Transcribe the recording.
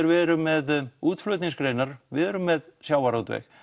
við erum með útflutningsgreinar við erum með sjávarútveg